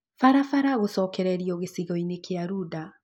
Barabara gũcokererio gĩcigo-inĩ kĩa Runda